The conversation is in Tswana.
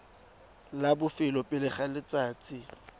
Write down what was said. la bofelo pele ga letsatsi